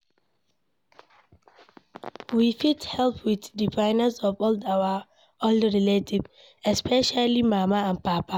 we fit help with the finances of old our old relatives especially mama and papa